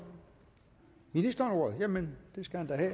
ministeren ordet jamen det skal han da